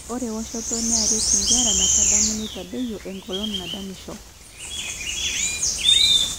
Ore woshot nearaki nkera metadamu nitadoyio engolon nadamisho.